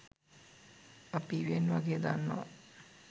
අපි ඉවෙන් වගේ දන්නවා